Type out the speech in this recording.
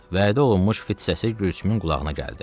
Vədə olunmuş fit səsi Gülsümün qulağına gəldi.